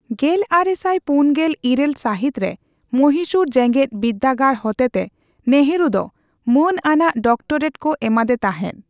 ᱜᱮᱞ ᱟᱨᱮᱥᱟᱭ ᱯᱩᱱᱜᱮᱞ ᱤᱨᱟᱹᱞ ᱥᱟᱹᱦᱤᱛ ᱨᱮ ᱢᱚᱦᱤᱥᱩᱨ ᱡᱮᱜᱮᱫ ᱵᱤᱫᱽᱫᱟᱹᱜᱟᱲ ᱦᱚᱛᱮᱛᱮ ᱱᱮᱦᱩᱨᱩ ᱫᱚ ᱢᱟᱹᱱ ᱟᱱᱟᱜ ᱰᱚᱠᱴᱚᱨᱮᱴ ᱠᱚ ᱮᱢᱟᱫᱮ ᱛᱟᱸᱦᱮᱫ ᱾